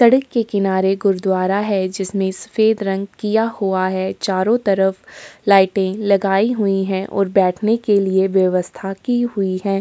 सड़क के किनारे गुरुदवारा है जिसमें सफ़ेद रंग किया हुआ है| चारों तरफ लाईटें लगाई हुई हैं और बैठने के लिए व्यवस्था की हुई है।